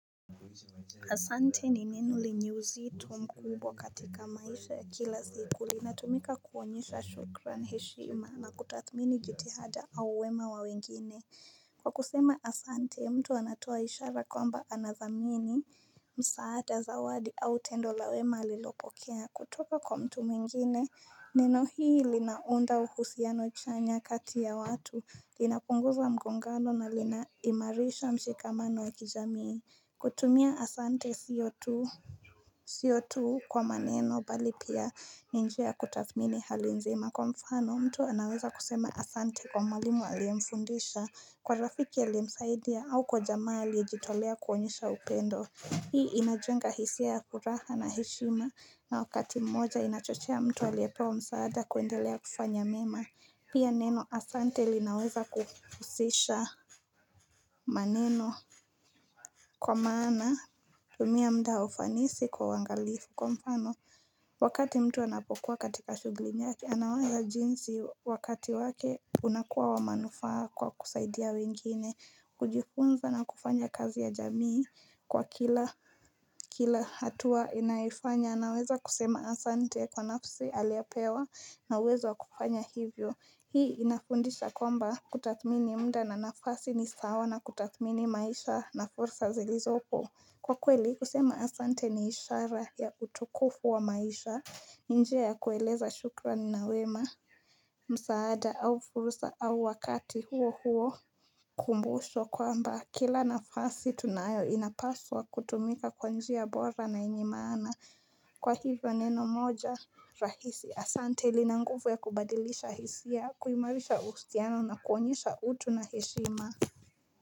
Asante ni neno lenye úzitó mkubwa katika maisha ya kila zikuli. Lina tumika kuonyesha shukran heshima na kutathmini jitihada áu wema wa wengine. Kwa kusema Asante, mtu anatoa ishara kwamba anazamini. Msaada zawadi au tendola wema alilopokea. Kutoko kwa mtu mwingine. Neno hii linaunda uhusiano chanya kati ya watu. Linapunguza mgongano na linaimarisha mshikamano wa kijamii. Kutumia Asante sio tuu Sio tuu kwa maneno bali pia ni njia kutathmini hali nzima Kwa mfano mtu anaweza kusema Asante kwa mwalimu aliyemfundisha Kwa rafiki aliyemsaidia au kwa jamaa aliyejitolea kuonyesha upendo Hii inajenga hisia ya furaha na heshima na wakati mmoja inachochea mtu aliyepewa msaada kuendelea kufanya mema Pia neno Asante linaweza kuhusisha maneno Kwa maana, tumia muda wa ufanisi kwa uwangalifu. Kwa mfano, wakati mtu anapokuwa katika shugli ni yake, anaona jinsi wakati wake unakuwa wa manufaa kwa kusaidia wengine, kujifunza na kufanya kazi ya jamii kwa kila hatua inaifanya. Naweza kusema Asante kwa nafsi aliyopewa na uwezo kufanya hivyo Hii inafundisha kwamba kutathmini muda na nafasi ni sawa na kutathmini maisha na fursa zilizo po Kwa kweli kusema Asante ni ishara ya utukufu wa maisha ni njia ya kueleza shukrani nawema msaada au fursa au wakati huo huo kumbusho kwamba Kila nafasi tunayo inapaswa kutumika kwa njia bora na yenye maana Kwa hivyo neno moja rahisi Asante linanguvu ya kubadilisha hisia kuimarisha uhusiano na kuonyesha utu na heshima.